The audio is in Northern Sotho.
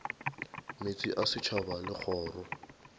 meetse a setšhaba le kgoro